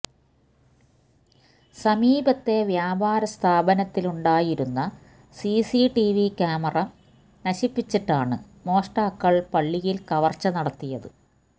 സമീപത്തെ വ്യാപാര സ്ഥാപനത്തിലുണ്ടായിരുന്ന സിസി ടിവി കാമറ നശിപ്പിച്ചിട്ടാണ് മോഷ്ടാക്കള് പള്ളിയില് കവര്ച്ച നടത്തിയത്